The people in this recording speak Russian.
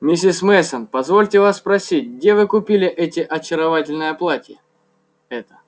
миссис мейсон позвольте вас спросить где вы купили эти очаровательное платье это